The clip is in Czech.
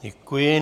Děkuji.